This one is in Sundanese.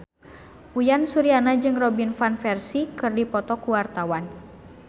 Uyan Suryana jeung Robin Van Persie keur dipoto ku wartawan